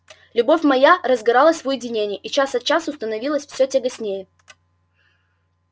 любовь моя разгоралась в уединении и час от часу становилась всё тягостнее